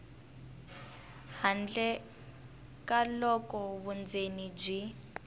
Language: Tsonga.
handle ka loko vundzeni byi